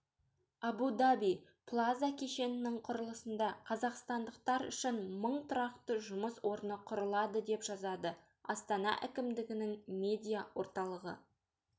абу-даби плаза кешенінің құрылысында қазақстандықтар үшін мың тұрақты жұмыс орны құрылады деп жазады астана әкімдігінің медиа-орталығы